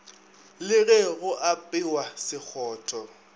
le ge go apewa sekgotho